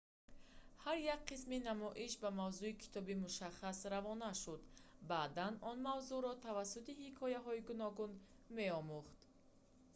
ҳар як қисми намоиш ба мавзӯи китоби мушаххас равона шуда баъдан он мавзӯъро тавассути ҳикояҳои гуногун меомӯхт